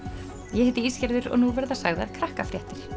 ég heiti Ísgerður og nú verða sagðar Krakkafréttir